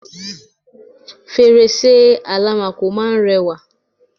fèrèsé àlámakò máa ń rẹwà